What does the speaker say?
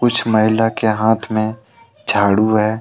कुछ महिला के हाथ में झाड़ू है।